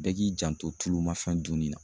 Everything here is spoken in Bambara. Bɛɛ k'i janto tulumafɛn dunni na